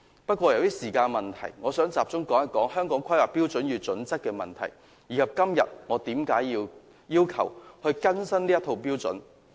不過，由於時間問題，我想集中討論《香港規劃標準與準則》的問題，以及今天我要求更新這套標準的原因。